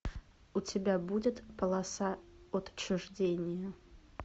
у тебя будет полоса отчуждения